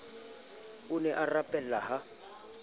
o ne a rapela ha